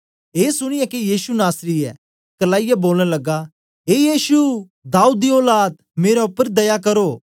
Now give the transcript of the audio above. ऐ सुनीयै के यीशु नासरी ऐ करलाईयै बोलन लगा ए यीशु दाऊद दी औलाद मेरे उपर दया करो